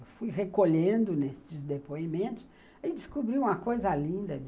Eu fui recolhendo nesses depoimentos e descobri uma coisa linda.